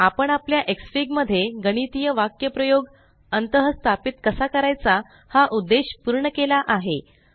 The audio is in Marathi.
आपण आपला एक्सफीग मध्ये गणितीय वाक्यप्रयोग अंतःस्थापित कसा करायचा हा उद्देश पूर्ण केला आहे